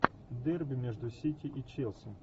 дерби между сити и челси